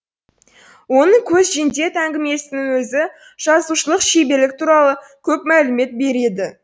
оның көзжендет әңгімесінің өзі жазушылық шеберлік туралы көп мәлімет береді